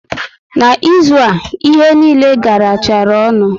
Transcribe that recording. Na ịzụ a, ihe niile garachara ọnụ